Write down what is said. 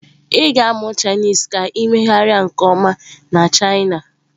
Ị ga-amụ Chinese ka ị na-emegharị nke ọma na china.